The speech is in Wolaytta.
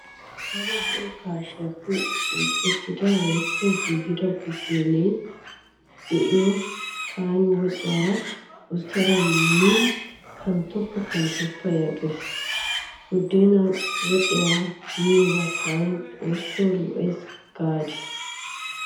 Adda zo'o gaashiyaappe uukettida woykko giigida buddeenaa be'iyo tana woxiyaara usttada meennan kanttoppa kanttoppa gees. Buddeenaa woxiyaara miyo tana xoosso lo'ees gaadii.